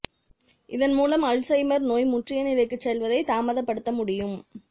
இதன் மூலம் அல்சைமர் நோய் முற்றிய நிலைக்குச் செல்வதைத் தாமதப்படுத்த முடியும்